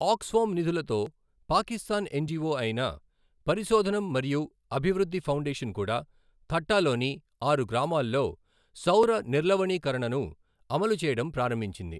Aux form నిధులతో Pakistan NGO అయిన పరిశోధనం మరియు అభివృద్ధి ఫౌండేషన్ కూడా థట్టాలోని ఆరు గ్రామాల్లో సౌర నిర్లవణీకరణను అమలు చేయడం ప్రారంభించింది.